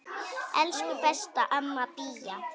Elsku besta amma Bía.